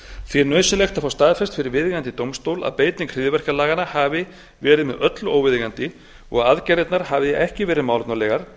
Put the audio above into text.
því er nauðsynlegt að fá staðfest fyrir viðeigandi dómstól að beiting hryðjuverkalaganna hafi verið með öllu óviðeigandi og að aðgerðirnar hafi ekki verið málefnalegar